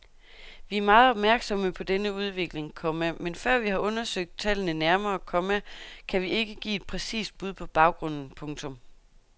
Vi er meget opmærksomme på denne udvikling, komma men før vi har undersøgt tallene nærmere, komma kan vi ikke give et præcist bud på baggrunden. punktum